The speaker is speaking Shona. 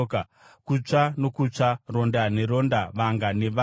kutsva nokutsva, ronda neronda, vanga nevanga.